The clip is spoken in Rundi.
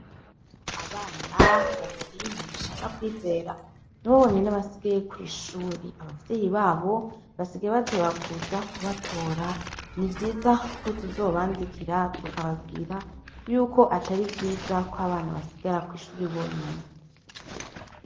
Abana babiri mugisha na kwizera nibo bonyene basigaye kw'ishure, abavyeyi babo basigaye bateba kuza kubatora hasigaye ko tuzobandikira tukababwira yuko atari vyiza ko abana basigara kw'ishuri bonyene.